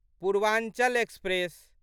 Purvanchal express